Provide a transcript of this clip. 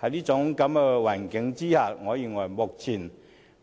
在這種情況下，我認為目前